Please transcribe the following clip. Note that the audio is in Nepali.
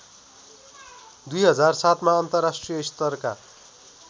२००७ मा अन्तर्राष्ट्रिय स्तरका